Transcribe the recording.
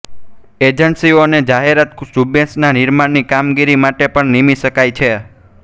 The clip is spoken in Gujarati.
એજન્સીઓને જાહેરાત ઝુંબેશના નિર્માણની કામગીરી માટે પણ નિમી શકાય છે